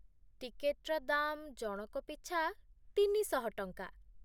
ଟିକେଟ୍ର ଦାମ୍ ଜଣକ ପିଛା ତିନିଶହ ଟଙ୍କା।